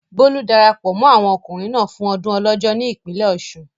Bólú darapọ̀ mọ́ àwọn ọkùnrin náà fún ọdún Ọlọ́jọ́ ní ìpínlẹ̀ Ọ̀ṣun.